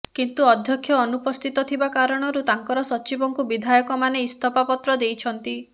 କିନ୍ତୁ ଅଧ୍ୟକ୍ଷ ଅନୁପସ୍ଥିତ ଥିବା କାରଣରୁ ତାଙ୍କର ସଚିବଙ୍କୁ ବିଧାୟକମାନେ ଇସ୍ତଫା ପତ୍ର ଦେଇଛନ୍ତି